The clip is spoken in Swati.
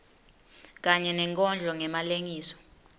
kanye nenkondlo ngemalengiso